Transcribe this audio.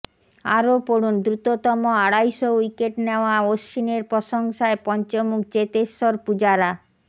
আরও পড়ুন দ্রুততম আড়াইশো উইকেট নেওয়া অশ্বিনের প্রশংসায় পঞ্চমুখ চেতেশ্বর পুজারা